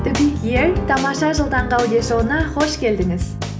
тамаша жыл таңғы аудиошоуына қош келдіңіз